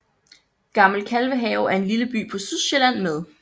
Gammel Kalvehave er en lille by på Sydsjælland med